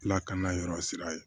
Lakana yɔrɔ sira ye